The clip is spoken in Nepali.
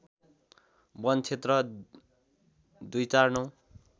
वन क्षेत्र २४९